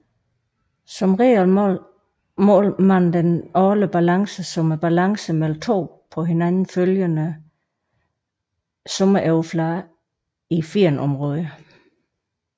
Som regel måles den årlige balance som balancen mellem to på hinanden følgende sommeroverflader i firnområdet